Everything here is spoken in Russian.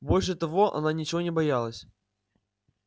больше того она ничего не боялась